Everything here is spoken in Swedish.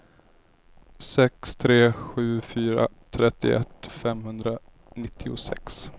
sex tre sju fyra trettioett femhundranittiosex